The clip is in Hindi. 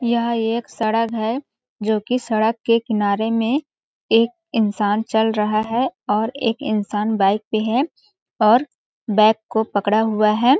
यह एक सड़क है जो की सड़क के किनारे में एक इंसान चल रहा है और एक इंसान बाइक पे है और बैग को पकड़ा हुआ है।